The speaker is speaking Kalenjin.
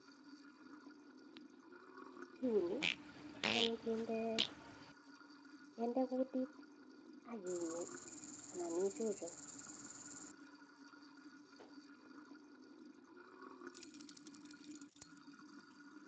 Kiuni atyam kende kutit akinyei anan ichuchun .